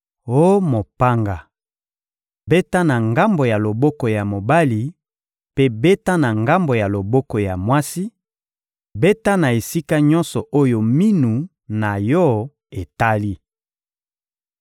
Oh mopanga, beta na ngambo ya loboko ya mobali mpe beta na ngambo ya loboko ya mwasi; beta na esika nyonso oyo minu na yo etali!